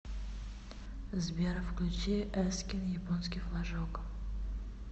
сбер включи эскин японский флажок